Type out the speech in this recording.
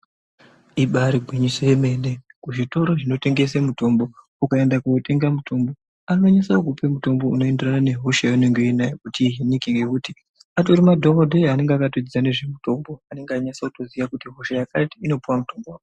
Ibari gwinyiso yemene, kuzvitoro zvinotengese mutombo ukaenda kootenga mutombo anonyasa kukupe mutombo unoenderana nehosha yeunenge uinayo kuti ngekuti atori madhokodheya anenge akatodzidza ngezvemutombo anenge echinyatsa kuziya kuti hosha yakati inopuwa mutombo wakati.